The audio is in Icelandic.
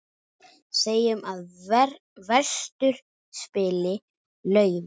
Segjum að vestur spili laufi.